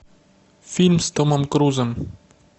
фильм с томом крузом